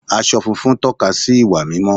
Aṣọ funfun tóka sí ìwà mímọ́